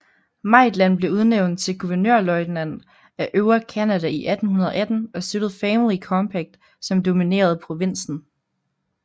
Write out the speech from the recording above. Maitland blev udnævnt til guvernørløjtnant af Øvre Canada i 1818 og støttede Family Compact som dominerede provinsen